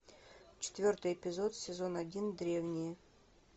четвертый эпизод сезон один древние